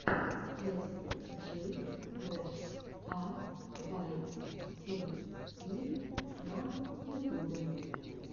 эс джи бэш а вай ти пи на ютубе